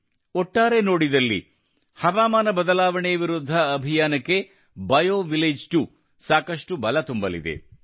ಒಟ್ಟಾರೆ ನೋಡಿದಲ್ಲಿ ಹವಾಮಾನ ಬದಲಾವಣೆ ವಿರುದ್ಧ ಅಭಿಯಾನಕ್ಕೆ ಬಯೋವಿಲೇಜ್ 2 ಸಾಕಷ್ಟು ಬಲ ತುಂಬಲಿದೆ